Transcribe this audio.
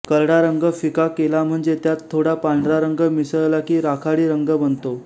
करडा रंग फिका केलाम्हणजे त्यात थोडा पांढरा रंग मिसळला की राखाडी रंग बनतो